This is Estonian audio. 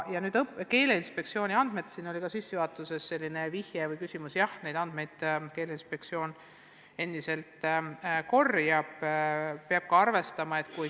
Keeleinspektsioon korjab endiselt andmeid.